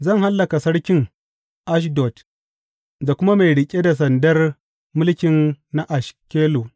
Zan hallaka sarkin Ashdod da kuma mai riƙe da sandar mulki na Ashkelon.